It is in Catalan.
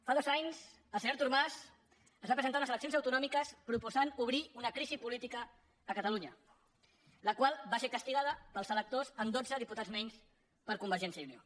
fa dos anys el senyor artur mas es va presentar a unes eleccions autonòmiques proposant obrir una crisi política a catalunya la qual va ser castigada pels electors amb dotze diputats menys per a convergència i unió